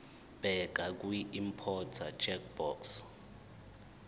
bheka kwiimporter checkbox